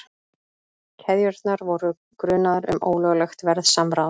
Keðjurnar voru grunaðar um ólöglegt verðsamráð